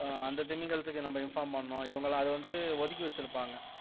ஆஹ் அந்த திமிங்கலத்துக்கு நம்ம inform பண்ணனும் இவங்கெல்லாம் அதை வந்து ஒதுக்கி வச்சிருப்பாங்க